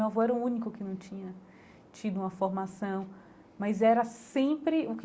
Meu avô era o único que não tinha tido uma formação, mas era sempre o que